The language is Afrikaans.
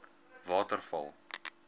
waterval